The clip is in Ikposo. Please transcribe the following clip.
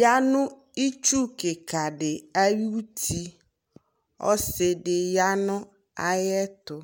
ya nu itsu kika di ayu tiƆsi di ya nu ayɛ tu